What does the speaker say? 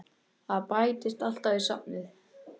Það bætist alltaf í safnið.